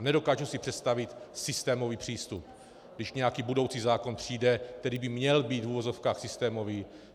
A nedokážu si představit systémový přístup, když nějaký budoucí zákon přijde, který by měl být v uvozovkách systémový.